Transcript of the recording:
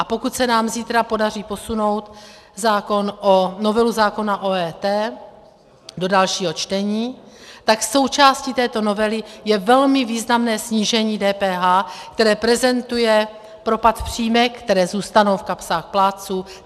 A pokud se nám zítra podaří posunout novelu zákona o EET do dalšího čtení, tak součástí této novely je velmi významné snížení DPH, které prezentuje propad v příjmech, které zůstanou v kapsách plátců;